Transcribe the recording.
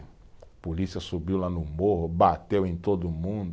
A polícia subiu lá no morro, bateu em todo mundo.